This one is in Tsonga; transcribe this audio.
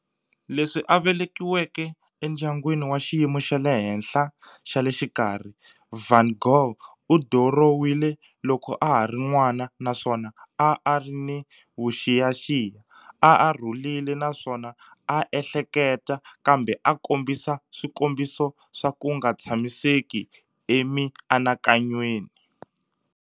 Leswi a velekiweke endyangwini wa xiyimo xa le henhla xa le xikarhi, van Gogh u dirowile loko a ha ri n'wana naswona a a ri ni vuxiyaxiya, a a rhulile naswona a a ehleketa, kambe a a kombisa swikombiso swa ku nga tshamiseki emianakanyweni.